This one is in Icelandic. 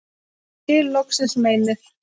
og skil loksins meinið